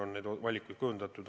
On see siis olnud nelik või viisik.